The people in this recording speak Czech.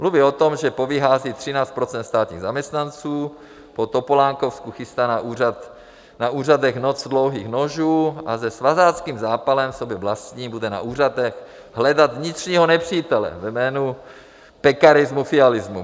Mluví o tom, že povyhází 13 % státních zaměstnanců, po topolánkovsku chystá na úřadech "noc dlouhých nožů" a se svazáckým zápalem sobě vlastním bude na úřadech hledat vnitřního nepřítele ve jménu pekarismu-fialismu.